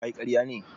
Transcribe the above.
Kayi ƙarya ne?